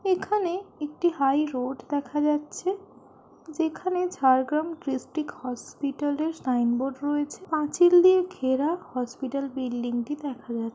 এখানে-- একটি হাইরোড দেখা যাচ্ছে যেখানে ঝাড়গ্রাম ড্রিস্ট্রিক্ট হসপিটালের সাইনবোর্ড রয়েছে পাঁচিল দিয়ে ঘেরা হসপিটাল বিল্ডিং দেখা যাচ্ছে।